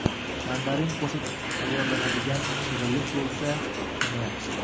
Mandarin qo‘shib tayyorlanadigan shirinlik bo‘lsa, yana yaxshi.